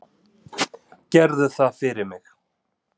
Gerðu það fyrir mig.